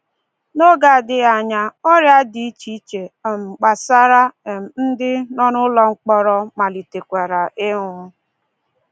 N’oge adịghị anya, ọrịa dị iche iche um gbasara, um ndị. nọ n'ụlọ mkpọrọ malitekwara ịnwụ.